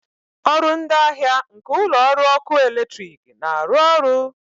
ọrụ ndị ahịa nke ụlọ ọrụ ọkụ eletrik na-arụ ọrụ?